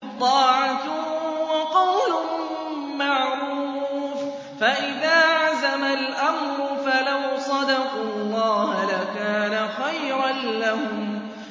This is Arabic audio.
طَاعَةٌ وَقَوْلٌ مَّعْرُوفٌ ۚ فَإِذَا عَزَمَ الْأَمْرُ فَلَوْ صَدَقُوا اللَّهَ لَكَانَ خَيْرًا لَّهُمْ